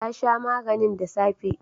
Ta sha maganin da safe